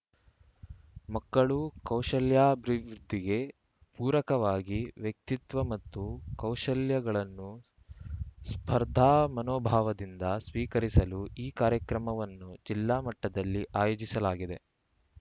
ಮಕ್ಕಳು ಕೌಶಲ್ಯಾಭಿವೃದ್ಧಿಗೆ ಪೂರಕವಾಗಿ ವ್ಯಕ್ತಿತ್ವ ಮತ್ತು ಕೌಶಲ್ಯಗಳನ್ನು ಸ್ಪರ್ಧಾಮನೋಭಾವದಿಂದ ಸ್ವೀಕರಿಸಲು ಈ ಕಾರ್ಯಕ್ರಮವನ್ನು ಜಿಲ್ಲಾಮಟ್ಟದಲ್ಲಿ ಆಯೋಜಿಸಲಾಗಿದೆ